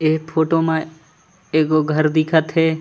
ए photo म एगो घर दिखत हे।